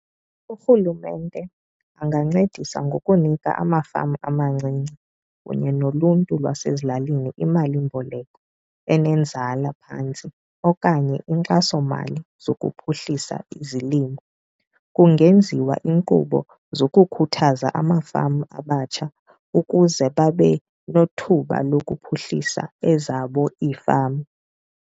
Urhulumente angancedisa ngokunika amafama amancinci kunye noluntu lwasezilalini imalimboleko enenzala phantsi okanye inkxasomali zokuphuhlisa izilimo. Kungenziwa inkqubo zokukhuthaza amafama abatsha ukuze babenothuba lokuphuhlisa ezabo ifama.